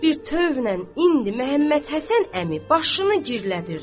Pəs bir tövrlə indi Məhəmməd Həsən əmi başını girdələdirdi.